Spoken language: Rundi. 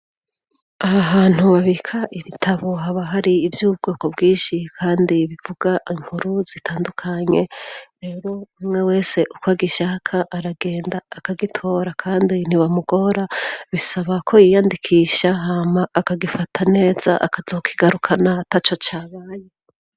aha hantu babika ibitabo haba hari iby'ubwoko bwishi kandi bivuga inkuru zitandukanye rero umwe wese uko agishaka aragenda akagitora kandi ntibamugora bisaba ko yiyandikisha hama akagifata neza akazokigarukana taco cyabaye